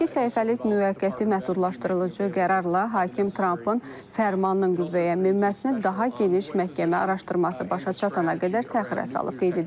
İki səhifəlik müvəqqəti məhdudlaşdırıcı qərarla hakim Trampın fərmanının qüvvəyə minməsini daha geniş məhkəmə araşdırması başa çatanadək təxirə salıb.